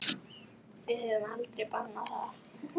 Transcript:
Við höfum aldrei bannað það.